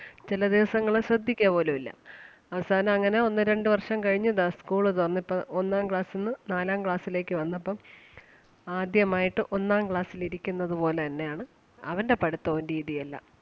ചെല ദിവസങ്ങള് ശ്രദ്ധിക്കുക പോലും ഇല്ല അവസാനം അങ്ങനെ ഒന്ന് രണ്ട് വർഷം കഴിഞ്ഞ് ദാ school തുറന്ന് ഇപ്പം ഒന്നാം class ന്ന് നാലാം class ലേക്ക് വന്നപ്പം ആദ്യമായിട്ട് ഒന്നാം class ൽ ഇരിക്കുന്നത് പോലെ തന്നെ ആണ് അവന്റെ പഠിത്തവും രീതിയും എല്ലാം.